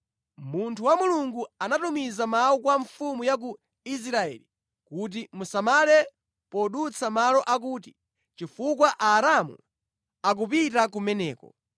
Munthu wa Mulungu anatumiza mawu kwa mfumu ya ku Israeli kuti “Musamale podutsa malo akuti, chifukwa Aaramu akupita kumeneko.”